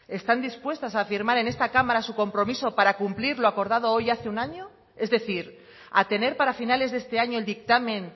están dispuestas a afirmar en esta cámara su compromiso para cumplir lo acordado hoy hace un año es decir a tener para finales de este año el dictamen